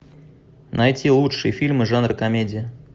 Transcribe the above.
найти лучшие фильмы жанра комедия